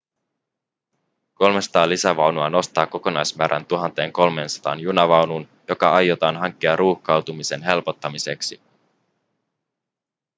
300 lisävaunua nostaa kokonaismäärän 1 300 junavaunuun jotka aiotaan hankkia ruuhkautumisen helpottamiseksi